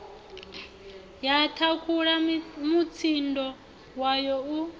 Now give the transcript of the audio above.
ya thakhula mutsindo wayo u